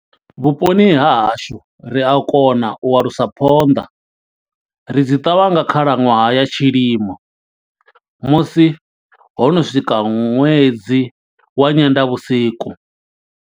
Vhuponi ha hashu, ri a kona u alusa phonḓa. Ri dzi ṱavha nga khalaṅwaha ya tshilimo, musi ho no swika ṅwedzi wa nyendavhusiku.